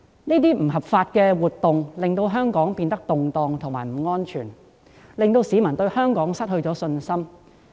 這些不合法活動令香港變得動盪及不安全，亦令市民對香港失去信心。